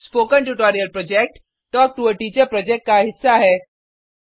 spoken tutorial project talk to a teacher project का हिस्सा है